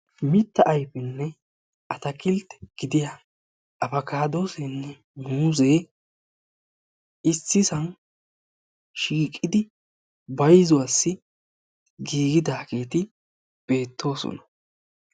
Mitta ayifenne atakiltte gidiya apakaadooseenne muuzee issisan shiiqidi bayizuwassi giigidaageeti beettoosona.